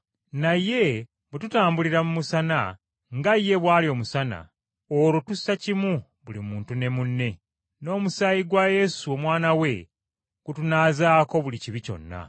Naye bwe tutambulira mu musana nga ye bw’ali omusana, olwo tussakimu buli muntu ne munne, n’omusaayi gwa Yesu Omwana we, gutunaazaako buli kibi kyonna.